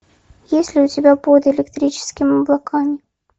есть ли у тебя под электрическими облаками